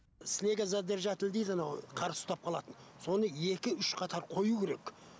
снегозадержатель дейді анау қар ұстап қалатын соны екі үш қатар қою керек